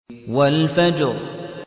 وَالْفَجْرِ